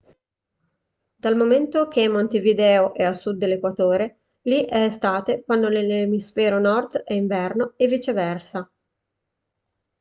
dal momento che montevideo è a sud dell'equatore li è estate quando nell'emisfero nord è inverno e viceversa